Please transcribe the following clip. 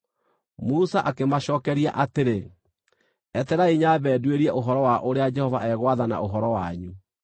Musa akĩmacookeria atĩrĩ, “Etererai nyambe nduĩrie ũhoro wa ũrĩa Jehova egwathana ũhoro wanyu.”